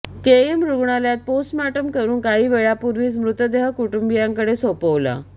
KEM रूग्णालयात postmortem करून काही वेळापूर्वीच मृतदेह कुटुंबियांकडे सोपवला